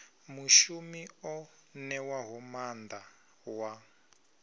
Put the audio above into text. mushumi o ṋewaho maanḓa wa